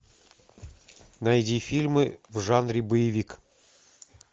найди фильмы в жанре боевик